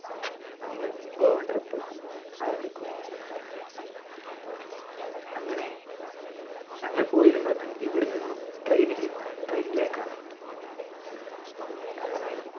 ഞങ്ങൾ ഗോവ trip ആരംഭിക്കുകയായി അങ്ങനെ ഞങ്ങൾ പോയിരുന്നത് ഇവിടെ നിന്നും train ഇൽ നിന്നാണ് train നിലേക്കാണ് അങ്ങനെ